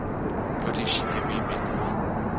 british heavy metal